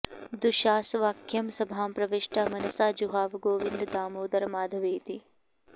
दुःशासवाक्यं सभां प्रविष्टा मनसा जुहाव गोविन्द दामोदर माधवेति